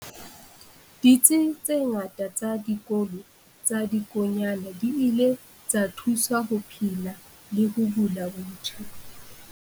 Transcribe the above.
Ditsi tse ngata tsa Dikolo tsa Dikonyana di ile tsa thuswa ho phela le ho bula botjha.